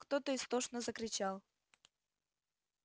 кто-то истошно закричал